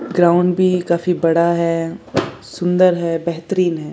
Ground भी काफी बड़ा है सुंदर है बेहतरीन है।